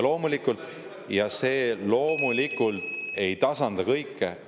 See loomulikult ei tasanda kõike.